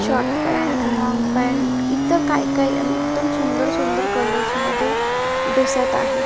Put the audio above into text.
Short pant long pant इतर काय काय आणि एकदम सुंदर सुंदर कलर्समध्ये दिसत आहे.